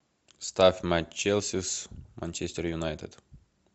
ставь матч челси с манчестер юнайтед